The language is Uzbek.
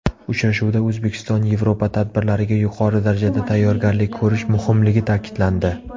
Uchrashuvda O‘zbekistonYevropa tadbirlariga yuqori darajada tayyorgarlik ko‘rish muhimligi ta’kidlandi.